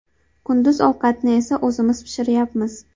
Kunduz ovqatni esa o‘zimiz pishiryapmiz.